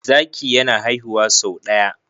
zaki yana haihuwa sau daya